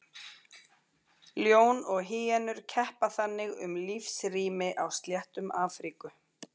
Ljón og hýenur keppa þannig um lífsrými á sléttum Afríku.